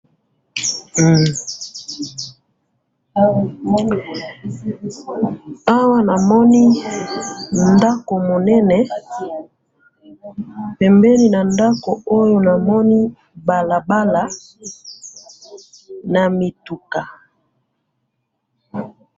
Awa namoni ndako munene, pembeni nandako oyo namoni balabala, namituka.